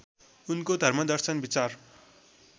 उनको धर्मदर्शन विचार